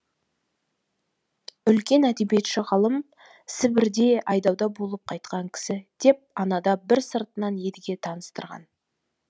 үлкен әдебиетші ғалым сібірде айдауда болып қайтқан кісі деп анада бір сыртынан едіге таныстырған